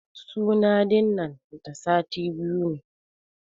Suna din nan da sati biyu ne.